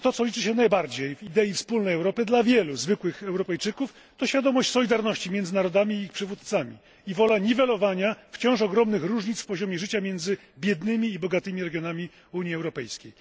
Bo to, co liczy się najbardziej w idei wspólnej Europy dla wielu zwykłych Europejczyków, to świadomość solidarności między narodami i ich przywódcami i wola niwelowania wciąż ogromnych różnic w poziomie życia między biednymi i bogatymi regionami Unii Europejskiej.